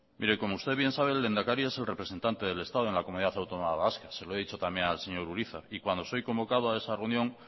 mire y como usted bien sabe el lehendakari es el representante del estado en la comunidad autónoma vasca se lo he dicho también al señor urizar y cuando soy convocado a esa reunión